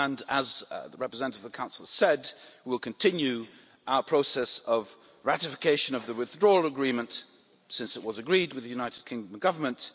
As the representative of the Council said, we will continue our process of ratification of the Withdrawal Agreement, since it was agreed with the United Kingdom Government.